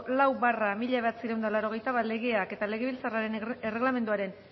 lau barra mila bederatziehun eta laurogeita bat legeak eta legebiltzarraren erregelamenduaren